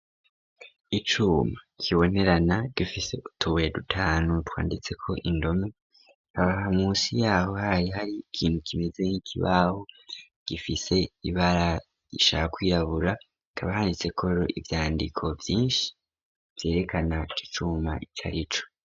Icuma kibonerana gifise utubuye dutanu twanditseko indome ,aha musi yaho hari hari ikintu kimeze n'ikibabo gifise ibara ishaka kwirabura hakaba handitseko ivyandiko vyinshi vyerekana iki cuma icarico.